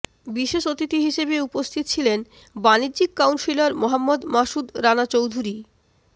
বিশেষ অতিথি হিসেবে উপস্থিত ছিলেন বাণিজ্যিক কাউন্সিলর মোহাম্মদ মাসুদ রানা চৌধুরী